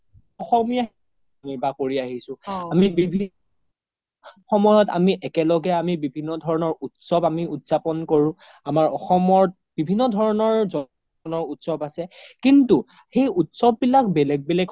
অসমীয়া কৰি আহিছো আমি বিভিন্ন সময়ত আমি একেলগে আমি বিভিন্ন ধৰণৰ উত্‍সৱ আমি উদযাপন কৰো আমাৰ অসমত বিভিন্ন ধৰণৰ জ্ন উত্‍সৱ আছে কিন্তু সেই উত্‍সৱ বিলাক বেলেগ বেলেগ